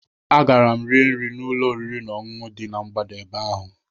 Agara m rie nri n'ụlọ oriri na ọṅụṅụ dị na mgbada ebe ahụ